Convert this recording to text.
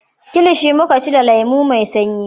Kilishi muka ci da lemo mai sanyi